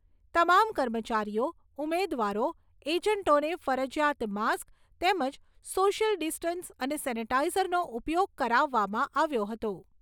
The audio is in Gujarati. તમામ કર્મચારીઓ, ઉમેદવારો, એજન્ટોને ફરજીયાત માસ્ક તેમજ સોશિયલ ડિસ્ટન્સ અને સેનેટાઇઝરનો ઉપયોગ કરાવવામાં આવ્યો હતો.